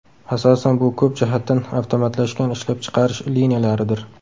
Asosan bu ko‘p jihatdan avtomatlashgan ishlab chiqarish liniyalaridir.